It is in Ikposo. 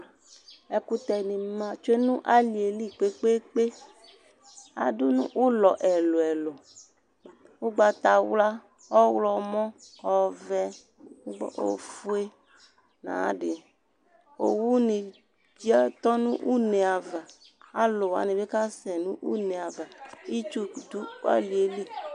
Ɛkutɛ ni ma tsoe nʋ alieli kpekpekpeAdʋnu ʋlɔ ɛlu ɛlu:Ʋgbatawla, ɔɣlɔmɔ, ɔvɛ, ofue nayadiOwu ni biatɔ nʋ une'avaAluwani bi kasɛ nʋ une'avaItsu dʋ alieli